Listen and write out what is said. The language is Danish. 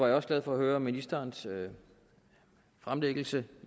jeg også glad for at høre ministerens fremlæggelse